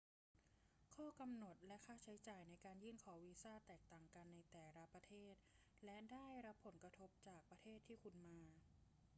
ข้อกำหนดและค่าใช้จ่ายในการยื่นขอวีซ่าแตกต่างกันในแต่ละประเทศและได้รับผลกระทบจากประเทศที่คุณมา